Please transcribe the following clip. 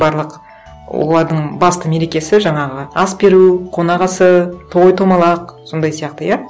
барлық олардың басты мерекесі жаңағы ас беру қонақасы той томалақ сондай сияқты иә